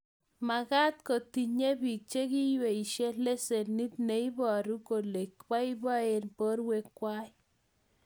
magat kotinyei biik chekweishei lesenit neibaru kole boiboen borwekwai